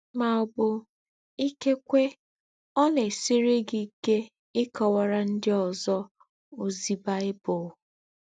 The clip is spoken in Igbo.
Mà ọ̀ bù, ìkékwé, ọ̀ nà-èsírì gí íké íkọ́wàrà ndí́ ózọ́ ózí Bible.